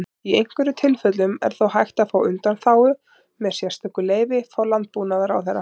Í einhverjum tilfellum er þó hægt að fá undanþágu með sérstöku leyfi frá Landbúnaðarráðherra.